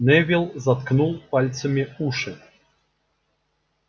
невилл заткнул пальцами уши